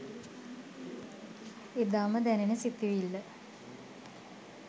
එදාම දැනෙන සිතුවිල්ල